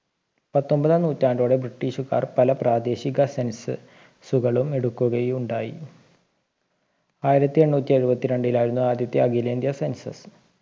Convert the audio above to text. പത്തൊമ്പതാം നൂറ്റാണ്ടോടെ british കാർ പല പ്രാദേശിക census കളും എടുക്കുകയുണ്ടായി ആയിരത്തി എണ്ണൂറ്റി എഴുവത്തി രണ്ടിലായിരുന്നു ആദ്യത്തെ അഖിലേന്ത്യാ census